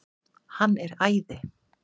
Hann er æði!